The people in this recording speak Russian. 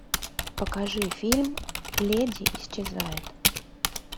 покажи фильм леди исчезает